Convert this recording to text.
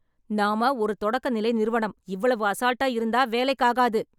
நாம ஒரு தொடக்க நிலை நிறுவனம். இவ்வளவு அசால்ட்டா இருந்த வேலைக்கு ஆகாது.